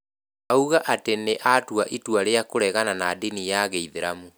Auga atĩ nĩ atuĩte itua rĩa kũregana na ndini ya Kĩislam